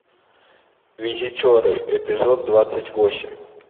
визитеры эпизод двадцать восемь